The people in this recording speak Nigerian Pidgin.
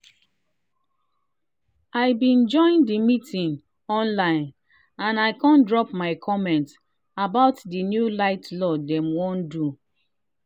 i been join the meeting online and i kon drop my comment about the new light law dem wan do.